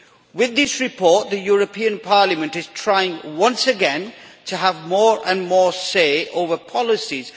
With this report the European Parliament is trying once again to have more and more say over policies.